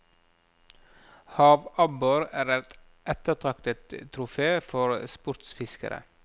Havabbor er et ettertraktet trofé for sportsfiskere.